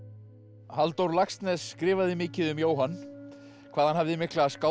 Halldór Laxness skrifaði mikið um Jóhann hvað hann hafði mikla